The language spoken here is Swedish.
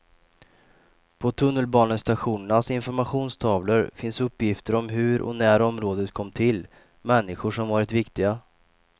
På tunnelbanestationernas informationstavlor finns uppgifter om hur och när området kom till, människor som varit viktiga.